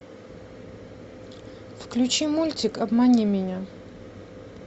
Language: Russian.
включи мультик обмани меня